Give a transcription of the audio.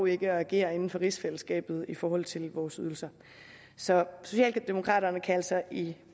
ikke at agere inden for rigsfællesskabet i forhold til vores ydelser så socialdemokraterne kan altså i